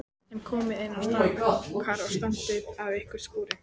En komiði inn strákar og standið af ykkur skúrina.